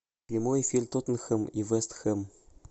прямой эфир тоттенхэм и вест хэм